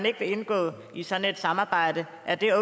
ikke vil indgå i sådan et samarbejde